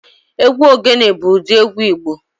Egwu ogene bụ ụdị egwu Igbo